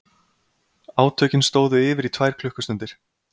Átökin stóðu yfir í tvær klukkustundir